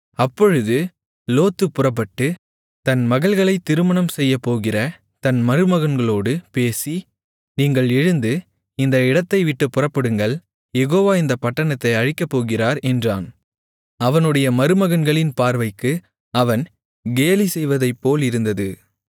அப்பொழுது லோத்து புறப்பட்டு தன் மகள்களைத் திருமணம் செய்யப்போகிற தன் மருமகன்களோடு பேசி நீங்கள் எழுந்து இந்த இடத்தைவிட்டுப் புறப்படுங்கள் யெகோவா இந்தப் பட்டணத்தை அழிக்கப்போகிறார் என்றான் அவனுடைய மருமகன்களின் பார்வைக்கு அவன் கேலிசெய்வதைப் போலிருந்தது